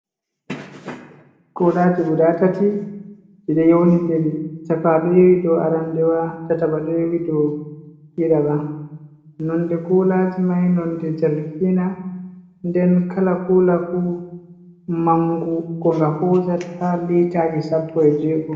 Kuulaaji gudaa tati ɗi ɗo ɗi ɗo yowndindiri, cakawa ɗo yowi dow aranndewa, ɗiɗiɓa ɗo yowi. nonde kuulaaji mai nonde jargiina nden kala kuula fuu mangu ko nga hoosata litaaji sppo e jeego.